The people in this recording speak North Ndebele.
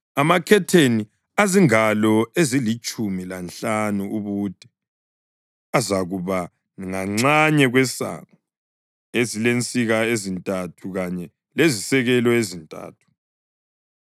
Amakhetheni azingalo ezilitshumi lanhlanu ubude azakuba nganxanye kwesango, elezinsika ezintathu kanye lezisekelo ezintathu.